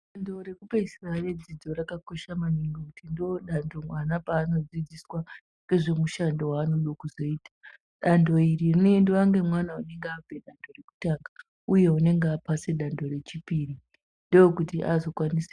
Dando reku peesira re dzidzo raka kosha maningi ngekuti ndo dando vana pavano dzidziswa nezve mushando wa noda kuzoita dando iri rinoendiwa ne mwana unenge apedza rekutanga uye anonge apasa dando re chipiri ndokuti azo kwanisa.